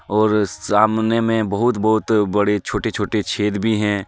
और सामने में बहुत-बहुत बड़े छोटे-छोटे छेद भी हैं.